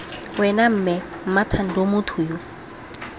wena mme mmathando motho yo